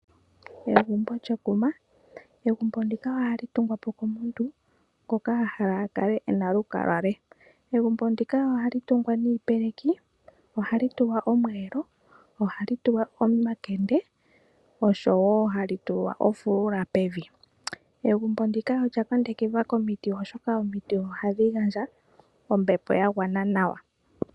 Egumbo lyekuma. Egumbo ndika ohali tungwa po komuntu ngoka a hala a kale ena olukalwa lwe. Egumbo ndika ohali tungwa niipeleki, ohali tulwa omuyelo, ohali tulwa omakende, oshowo ohali tulwa ofulula pevi. Egumbo ndika olya kundukidhwa komiti, oshoka omiti ohadhi gandja ombepo ya gwana nawa.